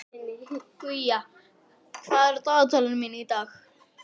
Guja, hvað er í dagatalinu mínu í dag?